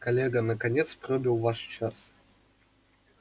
коллега наконец пробил ваш час